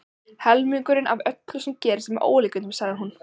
Helmingurinn af öllu sem gerist er með ólíkindum, sagði hún.